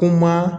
Kuma